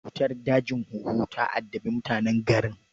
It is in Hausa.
Cutar dajin huhu ta addabi mutanen garin